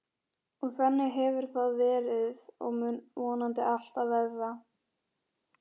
Og þannig hefur það verið og mun vonandi alltaf verða.